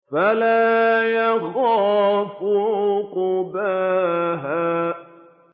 وَلَا يَخَافُ عُقْبَاهَا